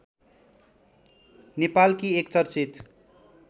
नेपालकी एक चर्चित